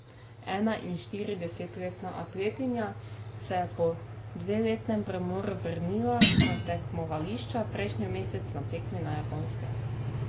Enainštiridesetletna atletinja se je po dveletnem premoru vrnila na tekmovališča prejšnji mesec na tekmi na Japonskem.